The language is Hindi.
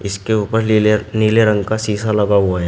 इसके ऊपर लीले नीले रंग का शीशा लगा हुआ है।